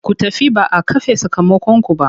Ku tafi ba a kafe sakamakonku ba!